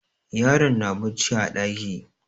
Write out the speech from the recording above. Yaron na bacci a ɗaki.